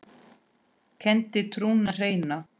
kenndi trúna hreina.